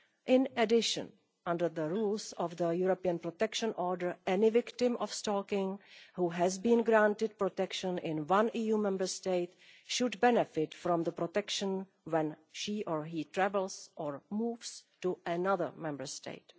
In addition, under the rules of the European Protection Order, any victim of stalking who has been granted protection in one EU Member State should benefit from protection when she or he travels or moves to another Member State.